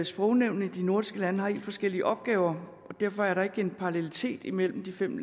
sprognævnene i de nordiske lande har helt forskellige opgaver og derfor er der ikke er en parallelitet imellem de fem